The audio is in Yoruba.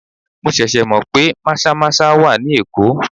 Mo ṣẹ̀ṣẹ̀ mọ pé maza-maza wà ní Èkó.